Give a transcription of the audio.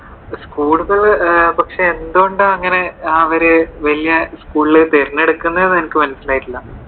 School കൾ പക്ഷെ എന്തുകൊണ്ട് അവര് അങ്ങനെ വലിയ സ്കൂളുകൾ തിരഞ്ഞെടുക്കുന്നെ എന്ന് എനിക്ക് മനസ്സിലായിട്ടില്ല.